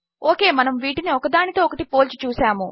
okay మనము వీటిని ఒకదానితో ఒకటి పోల్చి చూసాము